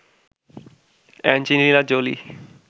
Angelina Jolie